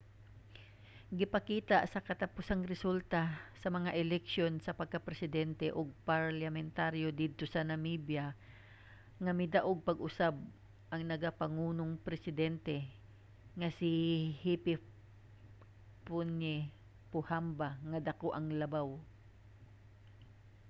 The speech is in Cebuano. gipakita sa katapusang resulta sa mga eleksiyon sa pagkapresidente ug parliamentaryo didto sa namibia nga midaog pag-usab ang nagapamunong presidente nga si hifikepunye pohamba nga dako ang labaw